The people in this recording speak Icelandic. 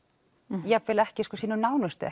jafnvel ekki sínum nánustu